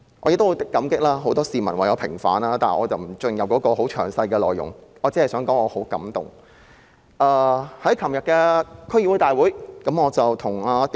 我也十分感激很多市民為我平反，但我不會詳細闡述，我只是想說我十分感動。